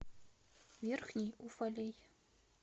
верхний уфалей